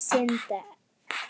Án syndar er ekkert líf.